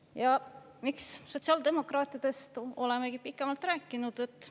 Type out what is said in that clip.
Ja miks sotsiaaldemokraatidest olemegi pikemalt rääkinud?